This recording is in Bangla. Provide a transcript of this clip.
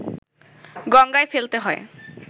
গঙ্গায় ফেলতে হয়